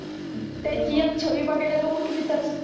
त्यांची एक छवी बगायला लोक किती तरस